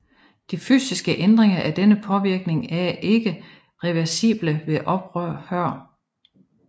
De fysiske ændringer af denne påvirkning er ikke reversible ved ophør